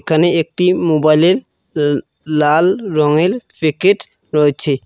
এখানে একটি মোবাইলের উ লাল রঙেল প্যাকেট রয়েছে।